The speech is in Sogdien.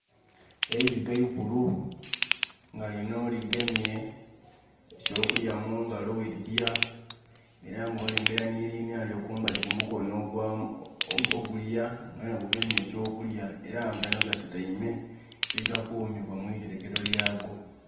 Eirike ikulu nga lino ligemye eky'okulya mungalo we lirya era nga olengera linalyo kumbali kumukono ogwamu..., ogulya gwona gugemye eky'okulya era gano gasutaime mwe ga kumibwa mu iterekero lyago